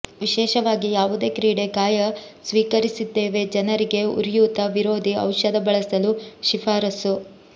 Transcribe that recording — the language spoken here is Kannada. ವಿಶೇಷವಾಗಿ ಯಾವುದೇ ಕ್ರೀಡೆ ಗಾಯ ಸ್ವೀಕರಿಸಿದ್ದೇವೆ ಜನರಿಗೆ ಉರಿಯೂತ ವಿರೋಧಿ ಔಷಧ ಬಳಸಲು ಶಿಫಾರಸು